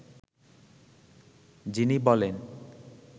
যিনি বলেন